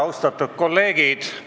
Austatud kolleegid!